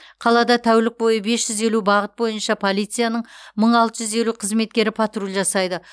қалада тәулік бойы бес жүз елу бағыт бойынша полицияның мың алты жүз елу қызметкері патруль жасайды